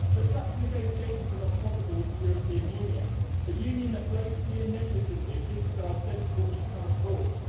But such negotiations are not possible with the European Union, a Union that blatantly and negligently disregards sensible economic rules.